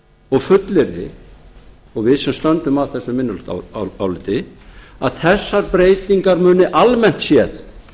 og fullyrði og við sem stöndum að þessu minnihlutaáliti að þessar breytingar muni almennt séð